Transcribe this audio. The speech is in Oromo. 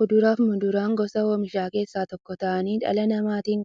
Kuduraafi muduraan gosa oomishaa keessaa tokko ta'anii, dhala namaatin